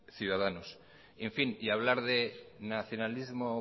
ciudadanos y en fin y hablar de nacionalismo